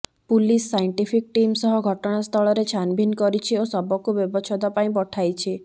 police scientific team ସହ ଘଟଣାସ୍ଥଳରେ ଛାନ୍ଭିନ୍ କରିଛି ଓ ଶବକୁ ବ୍ୟବଚ୍ଛେଦ ପାଇଁ ପଠାଇଛି